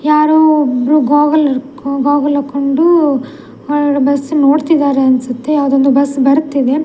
ಯಾರೋ ಒಬ್ರು ಬಾಗಲ್‌ ಹಿಡ್ಕೊ ಬಾಗಲ್‌ ಹಾಕೊಂಡು ಬಸ್ಸು ನೋಡ್ತಿದ್ದಾರೆ ಅನ್ಸುತ್ತೆ ಯಾವುದೋ ಬಸ್‌ ಬರ್ತಿದೆ .